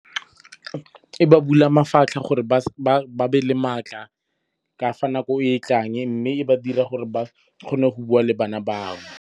Ke ba bula mafatlha gore ba be le matla ka fa nako e e tlang. Mme e ba dira gore ba kgone go bua le bana bangwe.